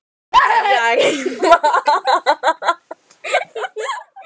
Berjarima